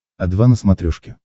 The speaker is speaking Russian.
о два на смотрешке